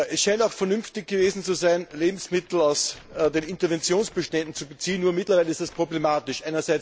Es scheint auch vernünftig gewesen zu sein, Lebensmittel aus den Interventionsbeständen zu beziehen, nur mittlerweile ist das problematisch.